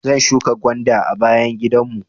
Zan shuƙa gwanda a bayan gidan mu.